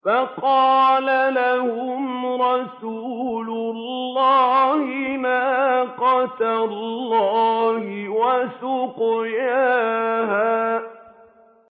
فَقَالَ لَهُمْ رَسُولُ اللَّهِ نَاقَةَ اللَّهِ وَسُقْيَاهَا